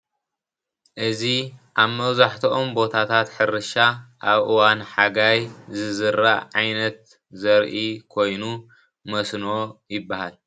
እዚ ኣብ መብዛሕትኦም ቦታታት ሕርሻ ኣብ እዋን ሓጋይ ዝዝራእ ዓይነት ዘርኢ ኮይኑ መስኖ ይባሃል።